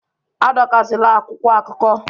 Adọkasịla akwụkwọ akụkọ!